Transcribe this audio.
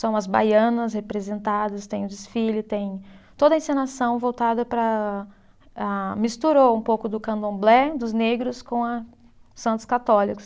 São as baianas representadas, tem o desfile, tem toda a encenação voltada para a, misturou um pouco do candomblé, dos negros, com a Santos Católicos.